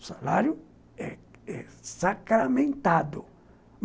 O salário é é sacramentado.